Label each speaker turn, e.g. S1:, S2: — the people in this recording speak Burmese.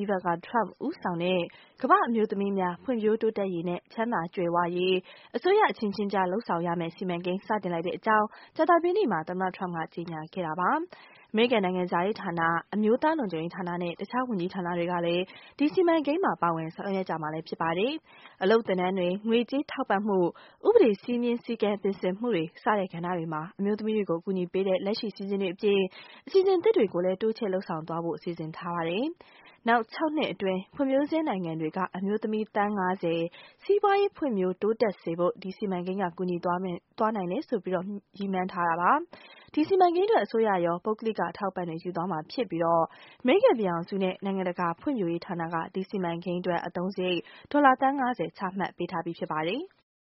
S1: Ivanka Trump ဦးဆောင်တဲ့ ကမ္ဘာ့အမျိုးသမီးများ ဖွံ့ဖြိုးတိုးတက်ရေးနဲ့ ချမ်းသာကြွယ်ဝရေး အစိုးရအချင်းချင်းကြား လုပ်ဆောင်ရမယ့်စီမံကိန်း စတင်လိုက်တဲ့အကြောင်း ကြာသပတေးနေ့မှာ သမ္မတ Trump က ကြေညာခဲ့တာပါ။ အမေရိကန်နိုင်ငံခြားရေးဌာန၊ အမျိုးသားလုံခြုံရေး ဌာနနဲ့ တခြား ဝန်ကြီးဌာနတွေလည်း ဒီစီမံကိန်းမှာ ပါဝင်ဆောင်ရွက်ကြမှာ ဖြစ်ပါတယ်။ အလုပ်သင်တန်းများ၊ ငွေကြေးထောက်ပံ့မှု၊ ဥပဒေ စည်းမျဥ်းစည်းကမ်း ပြင်ဆင်မှုတွေ စတဲ့ ကဏ္ဍတွေမှာ အမျိုးသမီးတွေကို အကူအညီပေးတဲ့ လက်ရှိအစီအစဉ်တွေအပြင် အစီအစဉ်သစ်တွေလည်း တိုးချဲ့လုပ်ဆောင် သွားဖို့ စီစဉ်ထားပါတယ်။ နောက် ၆ နှစ်အတွင်း ဖွံ့ဖြိုးဆဲနိုင်ငံတွေက အမျိုးသမီး သန်း ၅၀ စီးပွားရေး ဖွံံ့ဖြိုး တိုးတက် စေဖို့ ဒီစီမံကိန်းက ကူညီပေးနိုင်မယ်လို့ ရည်မှန်းထားတာပါ။ ဒီစီမံကိန်းအတွက် အစိုးရရော၊ ပုဂ္ဂလိက အထောက်အပံ့တွေ ယူသွားမှာဖြစ်ပြီး အမေရိကန်ပြည်ထောင်စုရဲ့ နိုင်ငံတကာဖွံ့ဖြိုးရေးဌာနက ဒီစီမံကိန်း အတွက် အသုံးစရိတ် ဒေါ်လာ သန်း ၅၀ ချမှတ်ထားပြီး ဖြစ်ပါတယ်။